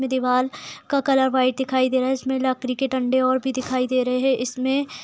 इसमे दिवार का कलर व्हाइट दिखाई दे रहा है इसमे लकड़ी के डंडे और भी दिखाई दे रहे हैं । इसमें --